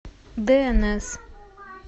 дээнэс